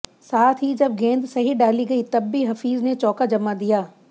साथ ही जब गेंद सही डाली गई तब भी हफीज ने चौका जमा दिया